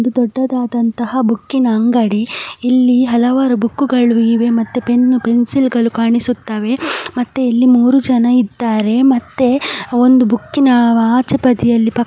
ಇದು ದೊಡ್ಡದಾದಂತಹ ಬುಕ್ಕಿನ ಅಂಗಡಿ. ಇಲ್ಲಿ ಹಲವಾರು ಬುಕ್ ಗಳು ಇವೆ ಮತ್ತು ಪೆನ್ ಪೆನ್ಸಿಲ್ ಗಳು ಕಾಣಿಸುತ್ತವೆ ಮತ್ತೆ ಇಲ್ಲಿ ಮೂರು ಜನ ಇದ್ದಾರೆ ಮತ್ತೆ ಒಂದು ಬುಕ್ಕಿನ ಆಚೆ ಬದಿಯಲ್ಲಿ--